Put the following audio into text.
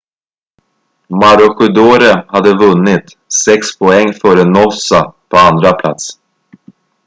maroochydore hade vunnit sex poäng före noosa på andra plats